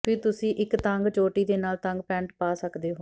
ਫਿਰ ਤੁਸੀਂ ਇੱਕ ਤੰਗ ਚੋਟੀ ਦੇ ਨਾਲ ਤੰਗ ਪੈਂਟ ਪਾ ਸਕਦੇ ਹੋ